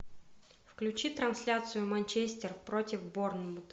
включи трансляцию манчестер против борнмут